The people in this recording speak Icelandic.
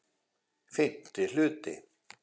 FIMMTI HLUTI